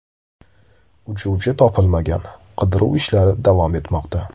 Uchuvchi topilmagan, qidiruv ishlari davom etmoqda.